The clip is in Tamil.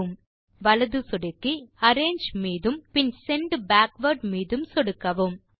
வலது சொடுக்கி கான்டெக்ஸ்ட் மேனு இல் அரேஞ்சு மீதும் பின் செண்ட் பேக்வார்ட் மீதும் சொடுக்கவும்